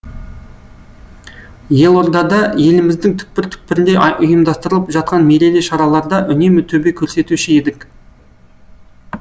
елордада еліміздің түкпір түкпірінде ұйымдастырылып жатқан мерейлі шараларда үнемі төбе көрсетуші едік